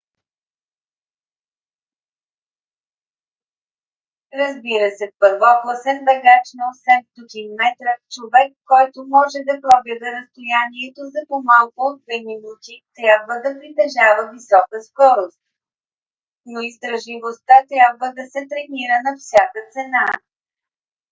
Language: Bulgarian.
разбира се първокласен бегач на 800 метра човек който може да пробяга разстоянието за по-малко от две минути трябва да притежава висока скорост но издръжливостта трябва да се тренира на всяка цена